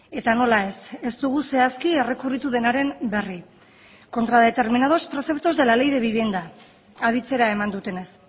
eta nola ez ez dugu zehazki errekurritu denaren berri contra determinados preceptos de la ley de vivienda aditzera eman dutenez